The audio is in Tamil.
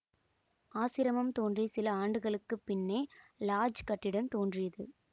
ஆசிரமம் தோன்றிய சில ஆண்டுகளுக்கு பின்னே லாட்ஜ் கட்டிடம் தோன்றியது